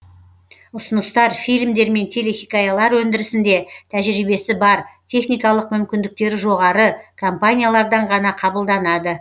ұсыныстар фильмдер мен телехикаялар өндірісінде тәжірибесі бар техникалық мүмкіндіктері жоғары компаниялардан ғана қабылданады